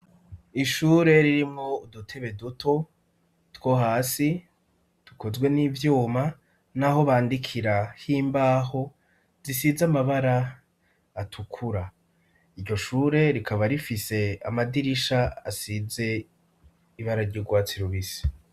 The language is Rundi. Ishure ririmo udutebe duto two hasi dukozwe n'ivyuma n'aho bandikira h'imbaho zisize amabara atukura iryo shure rikaba rifise amadirisha asize ibara ry'urwatsi rubisi.